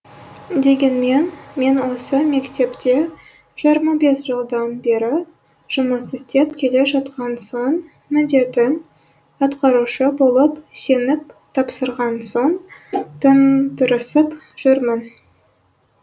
дегенмен мен осы мектепте жиырма бес жылдан бері жұмыс істеп келе жатқан соң міндетін атқарушы болып сеніп тапсырған соң тым тырысып жүрмін